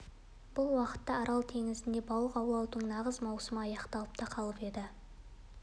бұл уақытта арал теңізінде балық аулаудың нағыз маусымы аяқталып та қалып еді